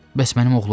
Bəs mənim oğlum?